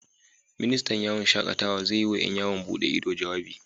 Ministan yawon shakatawa zai yi wa ƴan yawon bude ido, jawabi